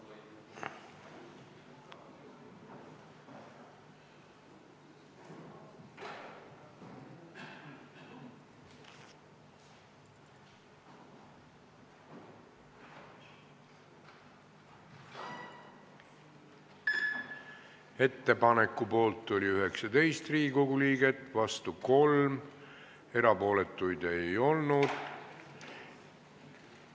Hääletustulemused Ettepaneku poolt oli 19 Riigikogu liiget, vastu 3, erapooletuid ei olnud.